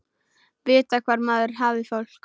Vita hvar maður hafði fólk.